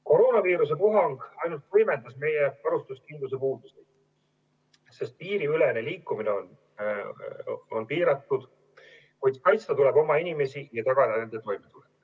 Koroonaviiruse puhang ainult võimendas meie varustuskindluse puudusi, sest piiriülene liikumine on piiratud, kuid kaitsta tuleb oma inimesi ja tagada nende toit.